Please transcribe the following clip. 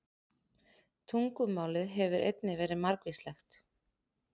Tungumálið hefur einnig verið margvíslegt.